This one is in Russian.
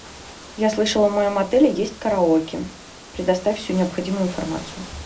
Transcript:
я слышала в моем отеле есть караоке предоставь всю необходимую информацию